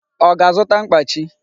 Ọ ga-azụta mkpachi?